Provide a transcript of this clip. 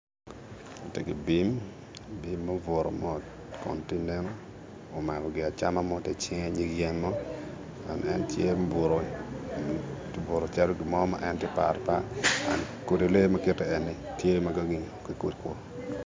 Tye ki bim, bim mubuto mot omako gin acama mo tye icinge nyig yen mo kun en tye mubuto mot obuto calo gin mo ma en tye ka paro par kodi lee ma kiti eni tye